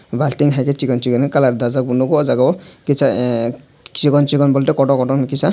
balting hai ke chikon chikon colour dajak nugo aw jaaga o chikon chikon bolte koto koto no kisa.